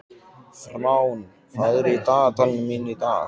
Fránn, hvað er í dagatalinu mínu í dag?